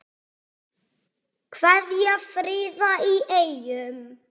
Kveðja, Fríða í Eyjum